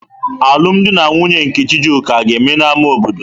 Alụm di na nwunye nke Chijioke aga-eme n'ámá obodo?